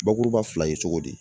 Bakuruba fila ye cogo di.